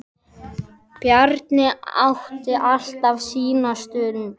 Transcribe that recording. Bjarni átti alltaf sína stund.